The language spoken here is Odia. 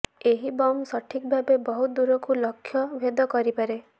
ଏହି ବମ ସଠିକ ଭାବେ ବହୁତ ଦୂରକୁ ଲକ୍ଷ ଭେଦ କରିପାରେ